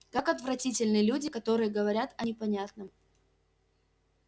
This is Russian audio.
как отвратительны люди которые говорят о непонятном